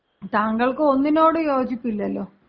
താങ്കൾക്കൊന്നിനോടും യോജിപ്പില്ലല്ലോ.